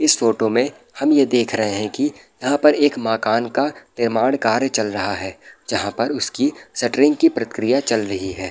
इस फोटो में हम ये देख रहे है की यहाँ पर एक मकान का निर्माण कार्य चल रहा है जहां पर उसकी सेट्रिंग की प्रक्रिया चल रही है ।